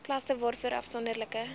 klasse waarvoor afsonderlike